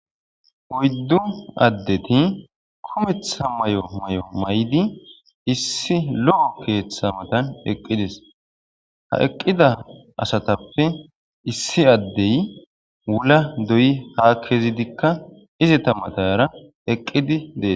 oyddu addeti kumetha may7o may7o may7di issi lo7o keeththa matan eqqides ha eqqida asatappe issi addey wula doyi ha kezidikka izeta mataara eqqidi dees